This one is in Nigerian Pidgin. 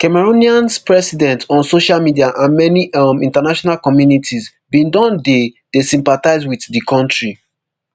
cameroonians president on social media and many um international communities bin don dey dey sympathise wit di kontri